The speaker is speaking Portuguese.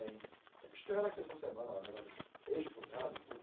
Eles estiveram aqui essa semana, negócio dos ex-cunhado e tudo.